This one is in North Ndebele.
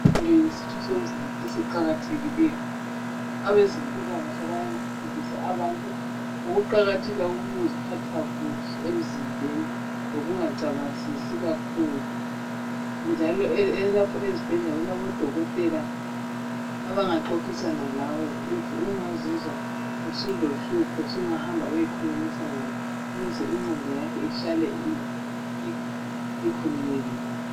inqondo yisitho somzimba esiqakathekileyo abazempilakahle beyefundisa abantu ngouqakatheka kokuziphatha kuhle emzimbeni lokucabangisisi kakhulu njalo lapha ezibhedlela kulabo dokotela abanga qoqisna lawe ma ungazizwa ulohlupho sungahamba uyekhulumisana labo ukuze inqondo yakho ihlale ikhululekile